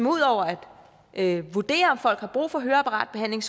ud over at vurdere om folk har brug for høreapparatbehandling